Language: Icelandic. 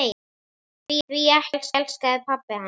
Því ekki elskaði pabbi hana.